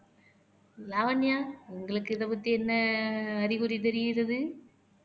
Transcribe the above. லாவண்யா உங்களுக்கு இதைப்பத்தி என்ன அறிகுறி தெரியிறது